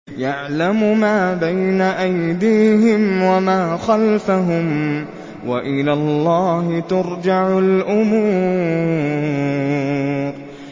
يَعْلَمُ مَا بَيْنَ أَيْدِيهِمْ وَمَا خَلْفَهُمْ ۗ وَإِلَى اللَّهِ تُرْجَعُ الْأُمُورُ